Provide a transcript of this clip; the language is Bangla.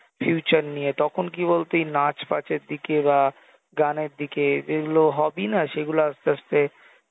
future নিয়ে তখন কি বলতো এই নাচ ফাচ এর দিকে বা গানের দিকে যেগুলো hobby না সেগুলো আস্তে আস্তে